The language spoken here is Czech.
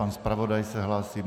Pan zpravodaj se hlásí.